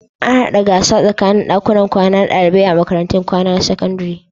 Ana haɗa gasa tsakanin ɗakunan kwana na ɗalibai a makarantun kwana na sakandare.